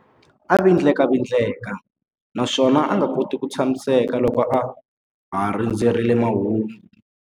A vindlavindleka naswona a nga koti ku tshamiseka loko a ha rindzerile mahungu.